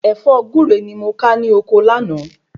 Ẹ̀fọ́ Gure ni mo ka ní ọkọ láàná